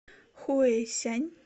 хуэйсянь